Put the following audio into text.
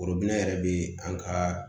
yɛrɛ bɛ an ka